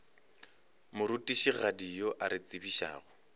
morutišigadi yo a re tsebišago